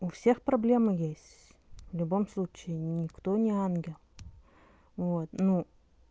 у всех проблемы есть в любом случае никто не ангел вот ну